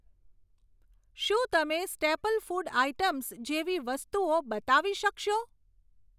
શું તમે staple food items જેવી વસ્તુઓ બતાવી શકશો?